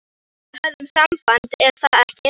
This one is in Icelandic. Við höfum samband, er það ekki?